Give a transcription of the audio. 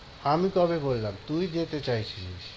আমি কবে বললাম? তুই যেতে চাইছিলিস।